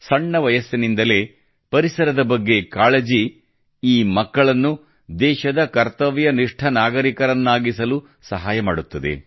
ಸಣ್ಣ ವಯಸ್ಸಿನಿಂದಲೇ ಪರಿಸರದ ಬಗ್ಗೆ ಕಾಳಜಿಯು ಈ ಮಕ್ಕಳನ್ನು ದೇಶದ ಕರ್ತವ್ಯನಿಷ್ಠ ನಾಗರಿಕರನ್ನಾಗಿಸಲು ಸಹಾಯ ಮಾಡುತ್ತದೆ